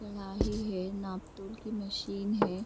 है नापतोल की मशीन है।